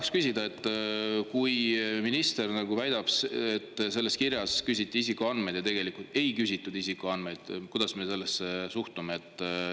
Tahan küsida, et kui minister väidab, et selles kirjas küsiti isikuandmeid, aga tegelikult ei küsitud isikuandmeid, kuidas me sellesse suhtume.